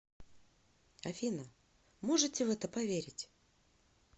афина можете в это поверить